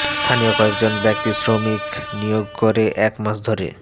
স্থানীয় কয়েকজন ব্যক্তি শ্রমিক নিয়োগ করে এক মাস ধরে